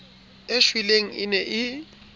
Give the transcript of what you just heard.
e shweleng e ne e